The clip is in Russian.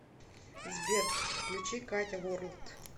сбер включи катя ворлд